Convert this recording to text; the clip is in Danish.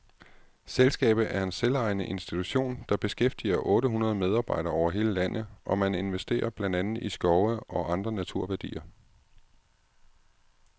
Selskabet er en selvejende institution, der beskæftiger otte hundrede medarbedere over hele landet, og man investerer blandt andet i skove og andre naturværdier.